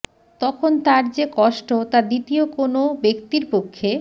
তখন তার যে কষ্ট তা দ্বিতীয় কোনো ব্যক্তির পক্ষে